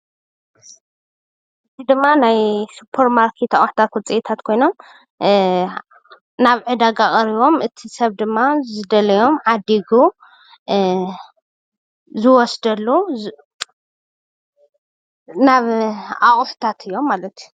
እዚ ድማ ናይ ስፖር ማርኬት አቑሑታት ውፂኢታት ኮይኖም ናብ ዕዳጋ ቀሪቦም እቲ ሰብ ድማ ዝደለዮ ዓዲጉ ዝወስደሉ ናብ አቁሑታት እዮም ማለት እዩ፡፡